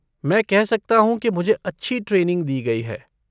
मैं कह सकता हूँ कि मुझे अच्छी ट्रेनिंग दी गई है।